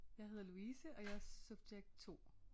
Jeg hedder Louise og jeg er subjekt 2